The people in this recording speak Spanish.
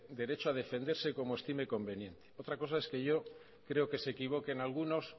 derecho a defenderse como estime conveniente otra cosa es que yo creo que se equivoquen algunos